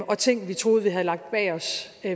og ting vi troede vi havde lagt bag os